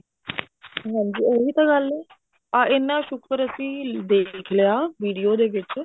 ਹਾਂਜੀ ਉਹੀ ਤਾਂ ਗੱਲ ਹੈ ਹਾਂ ਇੰਨਾ ਸ਼ੁਕਰ ਅਸੀਂ ਦੇਖ ਲਿਆ video ਦੇ ਵਿੱਚ